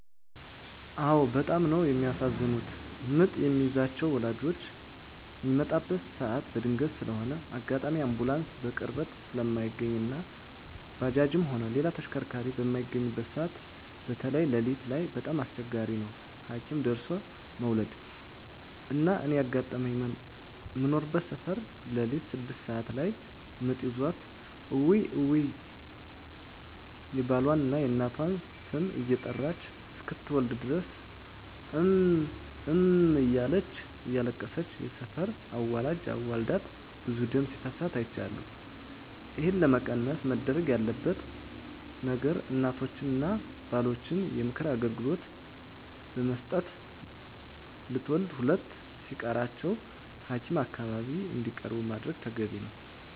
አዎ በጣም ነው የሚያሳዝኑት ምጥ የሚይዛቸው ወላጆች ሚመጣበት ሰዓት በድንገት ስለሆነ አጋጣሚ አንቡላንስ በቅርበት ስለማይገኝ እና ባጃጅም ሆነ ሌላ ተሽከርካሪ በማይገኝበት ሰዓት በተይ ለሊት ላይ በጣም አስቸጋሪ ነው ሀኪም ደርሦለ መዉለድ። እና እኔ ያጋጠመኝ ምኖርበት ሰፈር ለሊት ስድስት ሰዓት ላይ ምጥ ይዟት እውይ እውይ የባሏን፣ የእናቷን ስም እየጠራች እስክትወልድ ድረስ እም እም እያለች እያለቀሰች የሰፈር አዋላጅ አዋልዳት ብዙ ደም ሲፈሳት አይቻለሁ። ይህን ለመቀነስ መደረግ ያለበት ነገር እናቶችን እና ባሎችን የምክር አገልግሎት ብመስጠት ለትውልድ ሁለት ሲቀራቸው ሀኪም አካባቢ እንዲቀርቡ ማድረግ ተገቢ ነው።